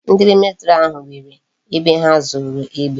Ndi military ahu nwere ebe ha zoro egbe